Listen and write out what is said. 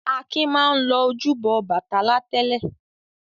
Akin máa ń lọ ojúbọ Ọbàtálá tẹ́lẹ̀.